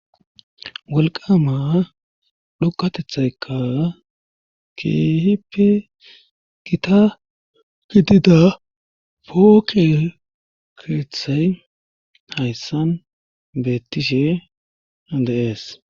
walqama dhoqatethayka keehipe gita fidida pookekethay hayssan beettishe adeees